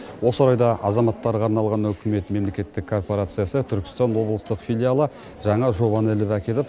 осы орайда азаматтарға арналған үкімет мемлекеттік корпорациясы түркістан облыстық филиалы жаңа жобаны іліп әкеліп